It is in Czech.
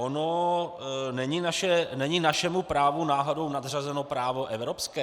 Ono není našemu právu náhodou nadřazeno právo evropské?